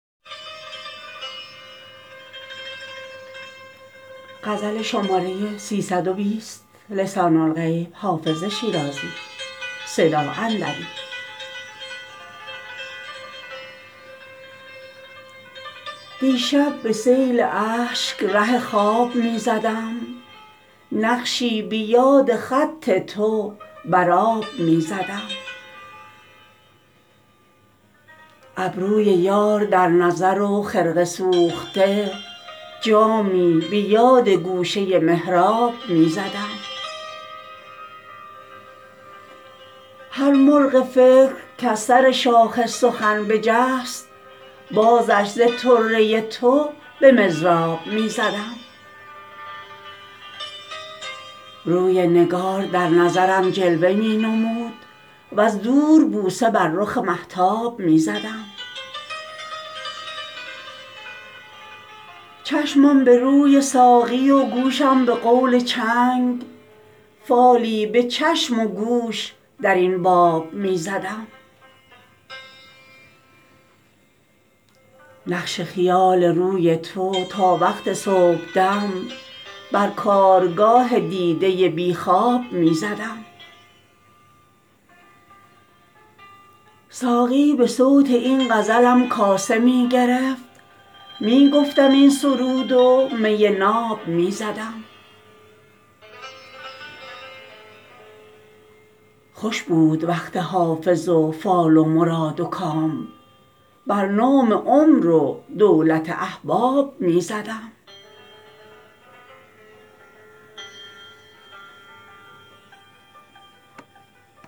دیشب به سیل اشک ره خواب می زدم نقشی به یاد خط تو بر آب می زدم ابروی یار در نظر و خرقه سوخته جامی به یاد گوشه محراب می زدم هر مرغ فکر کز سر شاخ سخن بجست بازش ز طره تو به مضراب می زدم روی نگار در نظرم جلوه می نمود وز دور بوسه بر رخ مهتاب می زدم چشمم به روی ساقی و گوشم به قول چنگ فالی به چشم و گوش در این باب می زدم نقش خیال روی تو تا وقت صبحدم بر کارگاه دیده بی خواب می زدم ساقی به صوت این غزلم کاسه می گرفت می گفتم این سرود و می ناب می زدم خوش بود وقت حافظ و فال مراد و کام بر نام عمر و دولت احباب می زدم